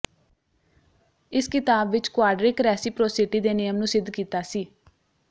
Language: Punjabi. ਇਸ ਕਿਤਾਬ ਵਿੱਚ ਕੁਆਡਰਿਕ ਰੈਸੀਪਰੋਸਿਟੀ ਦੇ ਨਿਯਮ ਨੂੰ ਸਿੱਧ ਕੀਤਾ ਸੀ